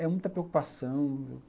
É muita preocupação.